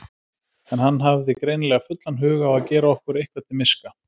En hann hafði greinilega fullan hug á að gera okkur eitthvað til miska.